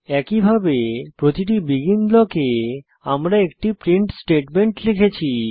একইভাবে প্রতিটি বেগিন ব্লকে আমরা একটি প্রিন্ট স্টেটমেন্ট লিখেছি